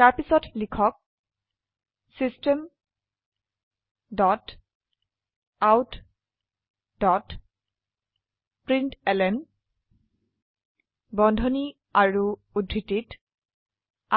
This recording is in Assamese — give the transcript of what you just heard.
তাৰপিছতলিখক system dot out dot println বন্ধনী আৰু উদ্ধৃতিত